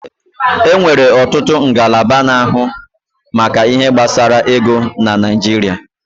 E nwere ọtụtụ ngalaba na-ahụ maka ihe gbasara ego n'Naijiria